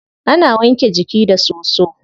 Ana wanke jiki da soso.